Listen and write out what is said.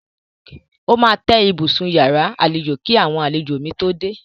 Ó máa tẹ́ ibùsùn iyàrá àlejò kí àwọn àlejò mi tó dé.